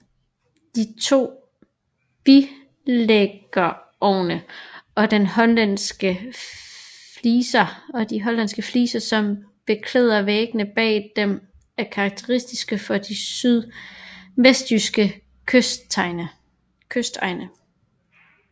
De to bilæggerovne og de hollandske fliser som beklæder væggene bag dem er karakteristiske for de sydvestjyske kystegne